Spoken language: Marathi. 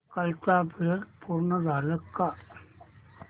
कालचं अपग्रेड पूर्ण झालंय का